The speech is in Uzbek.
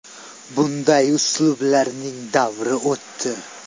Bunday uslublarning davri o‘tdi.